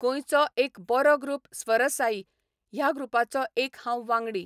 गोंयचो एक बरो ग्रुप स्वरसाई ह्या ग्रुपाचो एक हांव वांगडी.